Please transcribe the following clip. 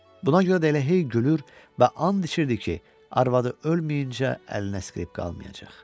Buna görə də elə hey gülür və and içirdi ki, arvadı ölməyincə əlinə skripka almayacaq.